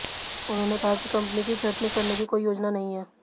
उन्होंने कहा कि कंपनी की छंटनी करने की कोई योजना नहीं है